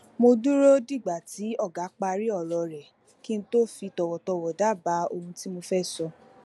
mo dúró dìgbà tí ọga parí òrò rè kí n tó fi tòwòtòwò dábàá ohun tí mo fé sọ